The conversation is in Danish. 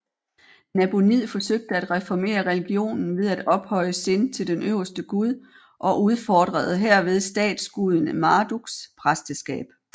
Nabonid forsøgte at reformere religionen ved at ophøje Sin til den øverste gud og udfordrede herved statsguden Marduks præsteskab